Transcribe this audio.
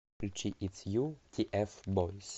включи итс ю тиэфбойз